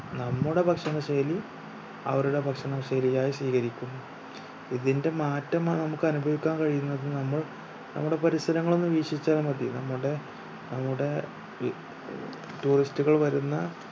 നമ്മുടെ ഭക്ഷണ ശൈലി അവരുടെ ഭക്ഷണ ശൈലി ആയി സ്വീകരിക്കുന്നു. ഇതിന്റെ മാറ്റം ന നമ്മുക് അനുഭവിക്കാൻ കഴിയുന്നത് നമ്മൾ നമ്മുടെ പരിസരങ്ങൾ ഒന്ന് വീക്ഷിച്ചാൽ മതി നമ്മുടെ നമ്മുട ഏർ tourist കൾ വരുന്ന